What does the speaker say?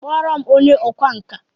Kpọọ m onye ọkwá nkà!